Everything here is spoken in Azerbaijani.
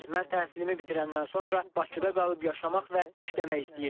Mən təhsilimi bitirəndən sonra Bakıda qalıb yaşamaq və işləmək istəyirəm.